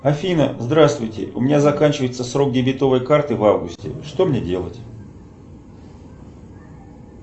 афина здравствуйте у меня заканчивается срок дебетовой карты в августе что мне делать